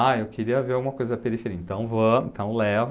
Ah, eu queria ver alguma coisa da periferia, então vamos, então levo.